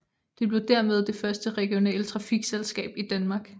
Det blev dermed det første regionale trafikselskab i Danmark